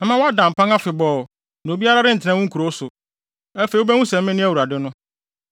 Mɛma woada mpan afebɔɔ, na obiara rentena wo nkurow so. Afei wubehu sɛ mene Awurade no.